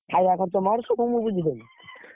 ଖାୟା ଖର୍ଚ ମୋର